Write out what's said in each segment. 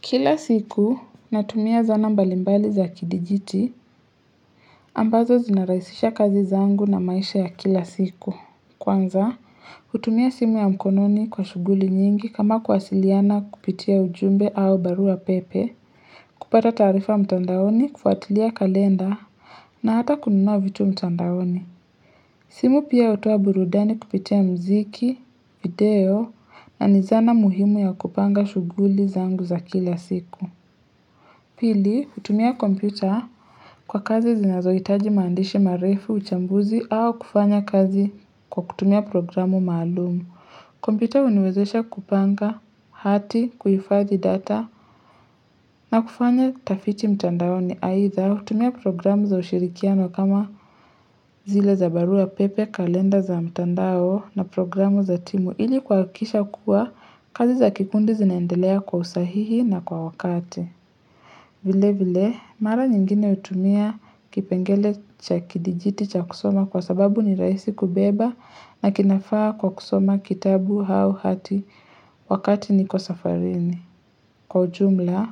Kila siku, natumia zana mbalimbali za kidijiti, ambazo zina rahisisha kazi zangu na maisha ya kila siku. Kwanza, hutumia simu ya mkononi kwa shughuli nyingi kama kuwasiliana kupitia ujumbe au barua pepe, kupata taarifa mtandaoni, kufuatilia kalenda, na hata kununua vitu mtandaoni. Simu pia hutoa burudani kupitia muziki, video, na ni zana muhimu ya kupanga shughuli zangu za kila siku. Pili, hutumia kompyuta kwa kazi zinazoitaji maandishi marefu, uchambuzi, au kufanya kazi kwa kutumia programu maalumu. Kompyuta huniwezesha kupanga hati, kuhifadhi data, na kufanya tafiti mtandaoni aidha, hutumia programu za ushirikiano kama zile za barua pepe, kalenda za mtandao na programu za timu ili kuhakikisha kuwa kazi za kikundi zinaendelea kwa usahihi na kwa wakati. Vile vile, mara nyingine hutumia kipengele cha kidijiti cha kusoma kwa sababu ni rahisi kubeba na kinafaa kwa kusoma kitabu hau hati wakati niko safarini. Kwa ujumla,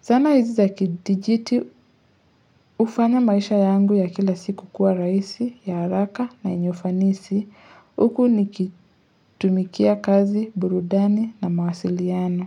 sanaa hizi za kidijiti hufanya maisha yangu ya kila siku kuwa rahisi, ya haraka na yenye ufanisi, uku nikitumikia kazi, burudani na mawasiliano.